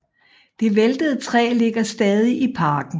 Det væltede træ ligger stadig i parken